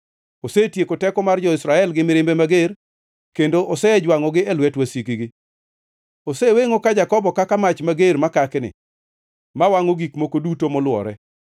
Osetieko teko mar jo-Israel gi mirimbe mager, kendo osejwangʼogi e lwet wasikgi. Osewengʼo ka Jakobo kaka mach mager makakni ma wangʼo gik moko duto molwore.